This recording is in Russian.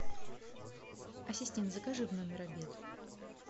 ассистент закажи в номер обед